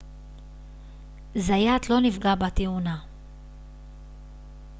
זיאת לא נפגע בתאונה